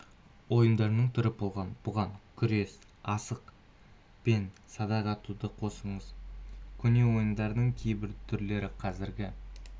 ойындарының түрі болған бұған күрес асық пен садақ атуды қосыңыз көне ойындардың кейбір түрлері қазіргі